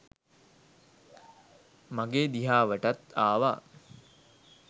මගේ දිහාවටත් ආව.